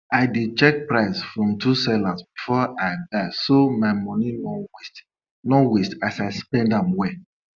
i dey check price from two sellers before i buy so my money no waste no waste as i spend am well